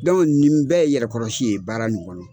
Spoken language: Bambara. nin bɛ yɛrɛkɔrɔsi ye baara nin kɔnɔ